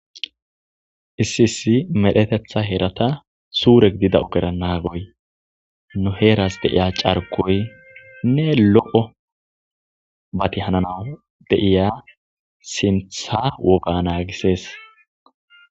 Issi issi medhetetha heratha sure gidida ogera nagoy nu heeras de'iya c'arkoynne loo'o mathi hananaw de'iya sinththa woga nagises.